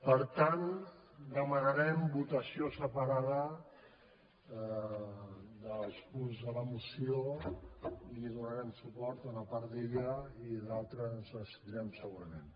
per tant demanarem votació separada dels punts de la moció i donarem suport a una part i a l’altra ens abs·tindrem segurament